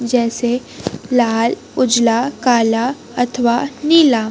जैसे लाल उजला काला अथवा नीला।